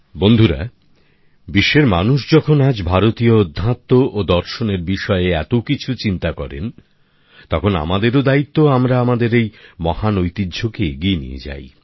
বন্ধুরা বিশ্বের মানুষ যখন আজ ভারতীয় অধ্যাত্ম ও দর্শনের বিষয়ে এতকিছু চিন্তা করেন তখন আমাদেরও দায়িত্ব আমরা আমাদের এই মহান ঐতিহ্য কে এগিয়ে নিয়ে যাই